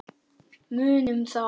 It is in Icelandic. Munum það.